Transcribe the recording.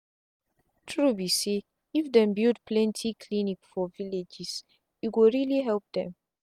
true be say if dem build plenty clinic for villages e go really help them.